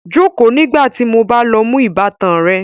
Jókòó nígbà tí mo lọ mú ìbátan rẹ